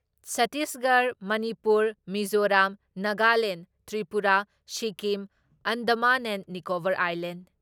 Chhattisgarh, Manipur, Mizoram, Nagaland, Tripura, Sikkim Andaman and Nicobar